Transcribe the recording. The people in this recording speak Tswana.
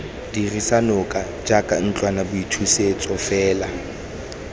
dirisa noka jaaka ntlwanaboithusetso fela